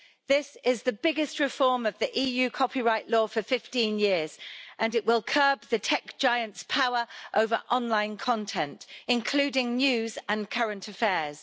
This is the biggest reform of the EU copyright law for 15 years and it will curb the tech giant's power over online content, including news and current affairs.